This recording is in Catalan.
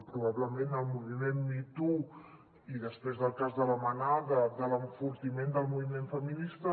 probablement el moviment me too i després del cas de la manada de l’enfortiment del moviment feminista